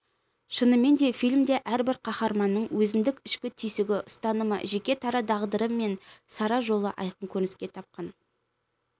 шынымен де фильмде әрбір қаһарманның өзіндік ішкі түйсігі ұстанымы жеке дара тағдыры мен сара жолы айқын көрініс тапқан